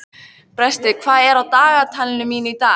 Brestir, hvað er í dagatalinu í dag?